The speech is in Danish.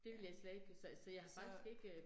Ja. Så